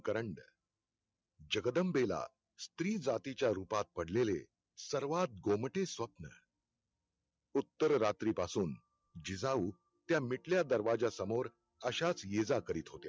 करंड जगदंबेला स्त्रीजातीच्या रुपात पडलेले सर्वात गोमटे स्वप्न उत्तररात्रीं पासून जिजाऊ त्या मिटल्या दरवाजा समोर अश्याच ये जा करीत होत्या.